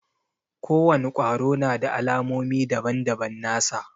Ko wani kwaro na da alamomi daban-daban nasa.